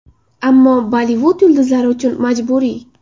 Ammo Bollivud yulduzlari uchun majburiy.